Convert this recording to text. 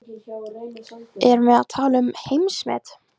Erum við að tala um heimsmet?